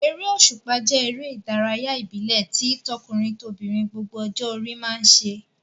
Eré òṣùpá jẹ́ eré ìdárayá ìbílẹ̀ tí tọkùnrin-tobìnrin gbogbo ọjọ́ orí máa ń ṣe.